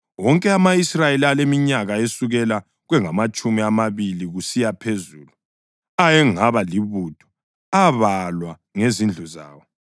Wonke ama-Israyeli aleminyaka esukela kwengamatshumi amabili kusiya phezulu ayengaba libutho abalwa ngezindlu zawo.